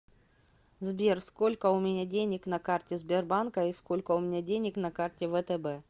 сбер сколько у меня денег на карте сбербанка и сколько у меня денег на карте втб